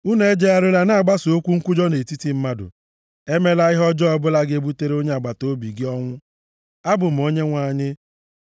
“ ‘Unu ejegharịla na-agbasa okwu nkwujọ nʼetiti ndị mmadụ. “ ‘Emela ihe ọbụla ga-ebutere onye agbataobi gị ọnwụ. Abụ m Onyenwe anyị.